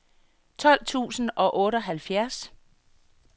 tolv tusind og otteoghalvfjerds